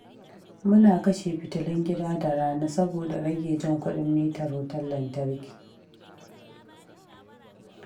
Muna kashe fitulun gida da rana saboda rage jan kuɗin mitar wutar lantarki.